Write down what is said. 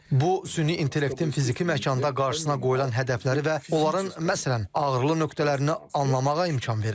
Bu süni intellektin fiziki məkanda qarşısına qoyulan hədəfləri və onların, məsələn, ağrılı nöqtələrini anlamağa imkan verir.